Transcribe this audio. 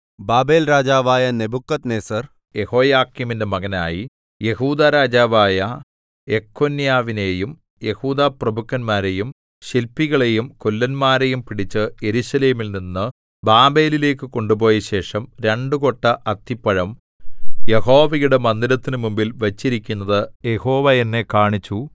ബാബേൽരാജാവായ നെബൂഖദ്നേസർ യെഹോയാക്കീമിന്റെ മകനായി യെഹൂദാ രാജാവായ യെഖൊന്യാവിനെയും യെഹൂദാപ്രഭുക്കന്മാരെയും ശില്പികളെയും കൊല്ലന്മാരെയും പിടിച്ച് യെരൂശലേമിൽ നിന്നു ബാബേലിലേക്കു കൊണ്ടുപോയ ശേഷം രണ്ടു കൊട്ട അത്തിപ്പഴം യഹോവയുടെ മന്ദിരത്തിനു മുമ്പിൽ വച്ചിരിക്കുന്നത് യഹോവ എന്നെ കാണിച്ചു